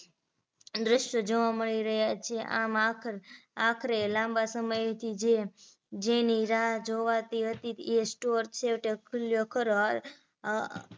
દ્રશ્ય જોવા મળી રહ્યા છે આખ આખરે લાંબા સમયથી જે જેની રાહ જોવાતી હતી એ store છેવટે ખુલ્યો ખરો અ